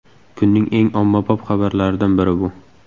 Kunning eng ommabop xabarlaridan biri bu.